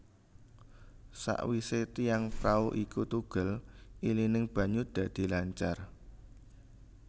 Sawise tiang prau iku tugel ilining banyu dadi lancar